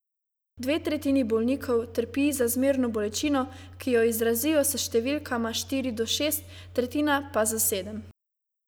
Dve tretjini bolnikov trpi za zmerno bolečino, ki jo izrazijo s številkama štiri do šest, tretjina pa s sedem.